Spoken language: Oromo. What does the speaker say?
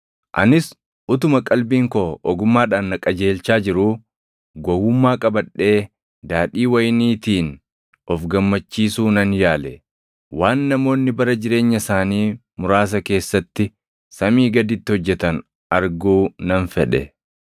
Anis utuma qalbiin koo ogummaadhaan na qajeelchaa jiruu gowwummaa qabadhee daadhii wayiniitiin of gammachiisu nan yaale. Waan namoonni bara jireenya isaanii muraasa keessatti samii gaditti hojjetan arguu nan fedhe.